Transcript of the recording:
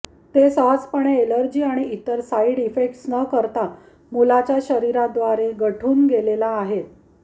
ते सहजपणे एलर्जी आणि इतर साइड इफेक्ट्स न करता मुलाच्या शरीरात द्वारे गढून गेलेला आहेत